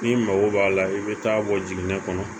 N'i mago b'a la i bɛ taa bɔ jiginɛ kɔnɔ